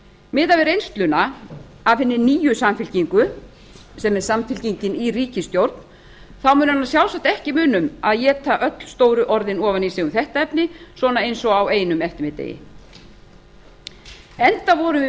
miðað við reynsluna af hinni nýju samfylkingu sem er samfylkingin í ríkisstjórn mun hana sjálfsagt ekki muna um að éta öll stóru orðin ofan í sig um þetta efni svona eins og á einum eftirmiðdegi enda vorum við